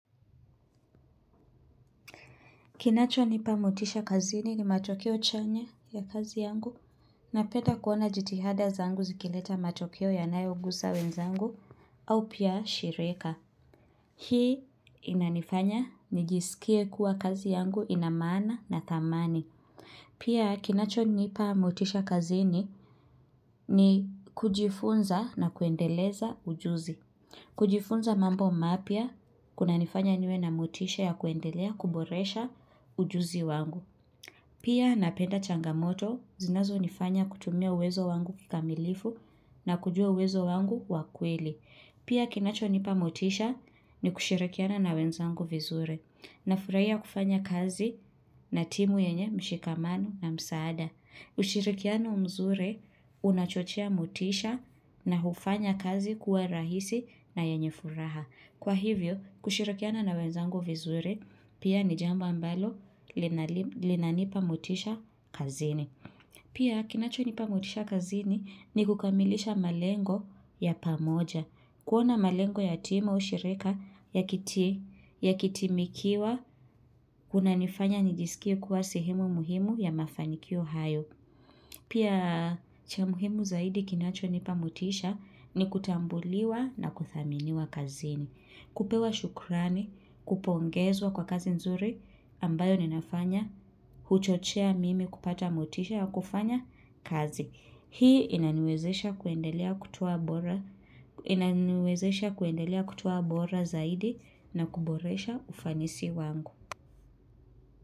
Kinachonipa motisha kazini ni matokeo chanya ya kazi yangu napenda kuona jitihada zangu zikileta matokeo yanayoguza wenzangu au pia shirika. Hii inanifanya nijisikie kuwa kazi yangu ina maana na thamani. Pia kinacho nipa mutisha kazini ni kujifunza na kuendeleza ujuzi. Kujifunza mambo mapya, kunanifanya niwe na motisha ya kuendelea kuboresha ujuzi wangu. Pia napenda changamoto, zinazo nifanya kutumia uwezo wangu kikamilifu na kujua uwezo wangu wa kweli. Pia kinachonipa motisha ni kushirikiana na wenzangu vizure. Nafurahia kufanya kazi na timu yenye mshikamano na msaada. Ushirikiano mzuri unachochea motisha na hufanya kazi kuwa rahisi na yenye furaha. Kwa hivyo kushirikiana na wenzangu vizuri pia ni jambo ambalo linanipa motisha kazini. Pia kinachonipa motisha kazini ni kukamilisha malengo ya pamoja. Kuona malengo ya timu au shirika yakitumikiwa kunanifanya nijisikie kuwa sehemu muhimu ya mafanikio hayo. Pia cha muhimu zaidi kinachonipa motisha ni kutambuliwa na kuthaminiwa kazini. Kupewa shukrani, kupongezwa kwa kazi nzuri ambayo ninafanya, huchochea mimi kupata motisha ya kufanya kazi. Hii inaniwezesha kuendelea kutoa bora zaidi na kuboresha ufanisi wangu.